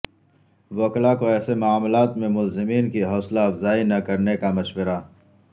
وکلا کو ایسے معاملات میں ملزمین کی حوصلہ افزائی نہ کرنے کا مشورہ